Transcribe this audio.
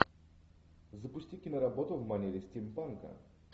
запусти киноработу в манере стимпанка